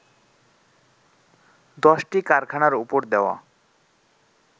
দশটি কারখানার ওপর দেওয়া